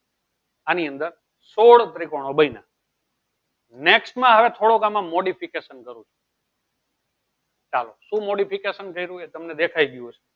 આની અંદર સોળ ત્રીકોનો બન્ય next માં હવે થોડો modification કરું છું ચાલો તમે શું modification કર્યું એ તમને દેખાઈ ગયું હશે.